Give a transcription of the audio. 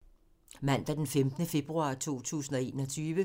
Mandag d. 15. februar 2021